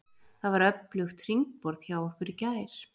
Það var öflugt hringborð hjá okkur í gær.